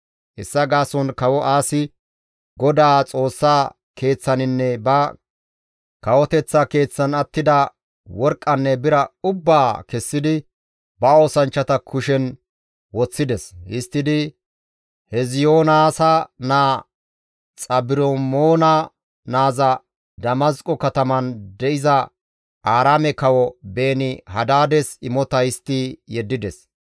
Hessa gaason Kawo Aasi GODAA Xoossa Keeththaninne ba kawoteththa keeththan attida worqqanne bira ubbaa kessidi ba oosanchchata kushen woththides. Histtidi Heziyoonaasa naa Xabrimoona naazas Damasqo kataman de7iza Aaraame kawo Beeni-Hadaades imota histti yeddides.